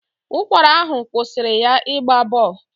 Ụkwara ahụ kwụsịrị ya ịgba bọl.